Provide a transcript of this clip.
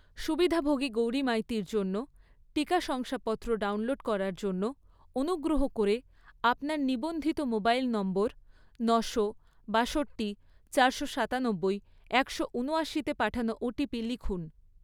সুবিধাভোগী গৌরী মাইতির জন্য টিকা শংসাপত্র ডাউনলোড করার জন্য, অনুগ্রহ করে আপনার নিবন্ধিত মোবাইল নম্বর নশো, বাষট্টি, চারশো সাতানব্বই, একশো ঊনয়াশি তে পাঠানো ওটিপি লিখুন